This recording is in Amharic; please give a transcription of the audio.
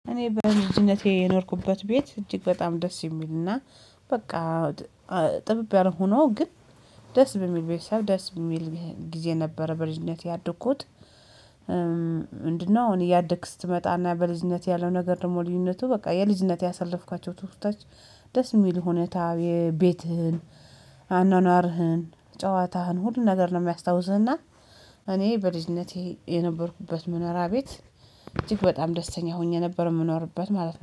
እኔ በልጅነቴ የኖርኩበት ቤት እጅግ በጣም ደስ የሚልና በቃ ጥብብ ያለ ሆኖ ግን ደስ በሚል ቤተሰብ ደስ በሚል ጊዜ ነበረ በልጅነቴ ያደኩት? ምንድነው እኔ እያደግክ ስትመጣና በልጅነት ያለው ነገር ደግሞ ልዩነቱ በቃ የልጅነት ያሳለፍኳቸው ትዉስታዎች ደስ የሚል ሁኔታ የቤትህን አኗኗርህን ጨዋታህን ሁሉን ነገር ነው የሚያስታውስህና። እኔ በልጅነቴ የነበርኩበት መኖሪያ ቤት እጅግ በጣም ደስተኛ ሆኜ ነበር የምኖርበት ማለት ነው